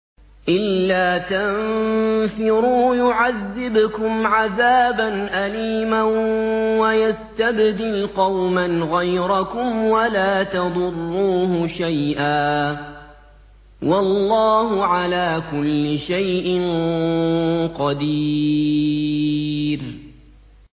إِلَّا تَنفِرُوا يُعَذِّبْكُمْ عَذَابًا أَلِيمًا وَيَسْتَبْدِلْ قَوْمًا غَيْرَكُمْ وَلَا تَضُرُّوهُ شَيْئًا ۗ وَاللَّهُ عَلَىٰ كُلِّ شَيْءٍ قَدِيرٌ